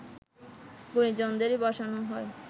গুণীজনদেরই বসানো হয়